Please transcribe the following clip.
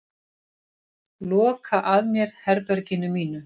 Loka að mér herberginu mínu.